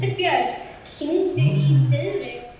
Herbjörn, hringdu í Diðrik.